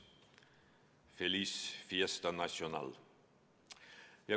Feliz fiesta nacional!